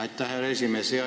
Aitäh, härra esimees!